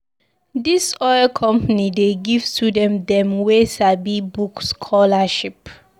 Dis oil company dey give student dem wey sabi book scholarship.